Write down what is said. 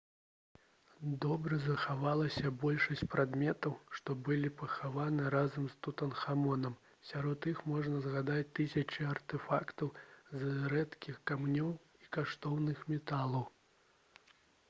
добра захавалася большасць прадметаў што былі пахаваны разам з тутанхамонам сярод іх можна згадаць тысячы артэфактаў з рэдкіх камянёў і каштоўных металаў